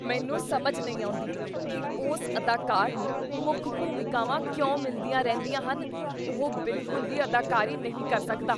ਮੈਨੂੰ ਸਮਝ ਨਹੀਂ ਆਉਂਦੀ ਕੀ ਉਸ ਅਦਾਕਾਰ ਨੂੰ ਮੁੱਖ ਭੂਮਿਕਾਵਾਂ ਕਿਉਂ ਮਿਲਦੀਆਂ ਰਹਿੰਦੀਆਂ ਹਨ। ਉਹ ਬਿਲਕੁਲ ਵੀ ਅਦਾਕਾਰੀ ਨਹੀਂ ਕਰ ਸਕਦਾ।